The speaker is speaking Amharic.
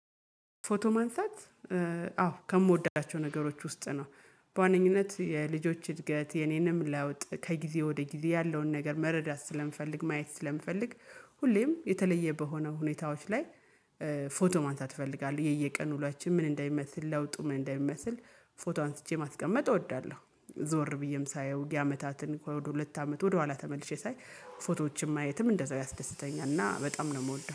ፎቶ ማንሳት አዎ ከምወዳቸው ነገሮች ውስጥ ነው በዋነኝነት የልጆች እድገት የኔንም ለውጥ ከጊዜ ወደ ጊዜ ያለውን ነገር መረዳት ስለምፈልግ ማየት ስለምፈልግ ሁሌም የተለየ በሆነ ሁኔታዎች ላይ። ፎቶ ማንሳት እፈልጋለህ የየቀኑ ውሏችን ምን እንደሚመስል ለውጡ ምን እንደሚመስል? ፎቶ አንስቼ ማስቀመጥ እወዳለሁ። ዞር ብዬም ሳየው የአመታትን ከሁለት አመት ወደኋላ ተመልሼ ሳይ ፎቶዎችን ማየትም እንደዛው ያስደስተኛል። እና በጣም ነው የምወደው